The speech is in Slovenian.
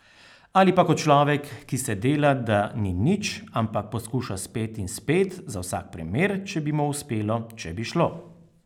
Ali pa kot človek, ki se dela, da ni nič, ampak poskuša spet in spet, za vsak primer, če bi mu uspelo, če bi šlo.